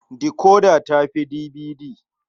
Decoder ta fi DVD.